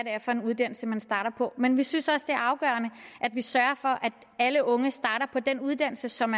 er for en uddannelse man starter på men vi synes også det er afgørende at vi sørger for at alle unge starter på den uddannelse som